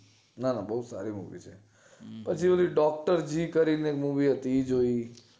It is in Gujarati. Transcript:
ના ના બોવ સારી movie છે પછી ઓલી docterg કરીને movie હતી એ જોય